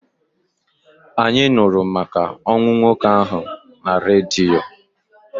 Anyị nụrụ maka ọnwụ nwoke ahụ na redio.